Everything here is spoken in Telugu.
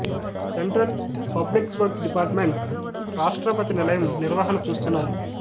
central Public Works Department Rashtrapati Nilayam నిర్వహణ చూస్తున్నారు